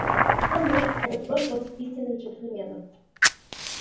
что может этот сброд против истинных джентльменов